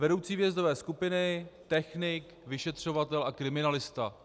Vedoucí výjezdové skupiny, technik, vyšetřovatel a kriminalista.